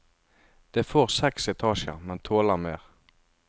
Det får seks etasjer, men tåler mer.